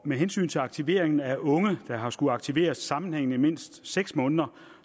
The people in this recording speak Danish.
med hensyn til aktivering af unge der har skullet aktiveres sammenhængende mindst seks måneder